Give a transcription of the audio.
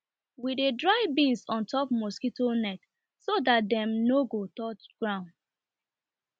we dey dry beans on top mosquito net so that dem nor go touch ground